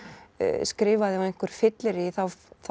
skrifaði á einhverju fylleríi þá